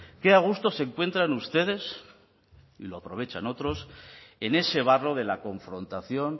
que a gusto se encuentran ustedes y lo aprovechan otros en ese barro de la confrontación